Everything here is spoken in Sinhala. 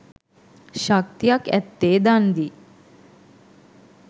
ශක්තියක් ඇත්තේ දන් දී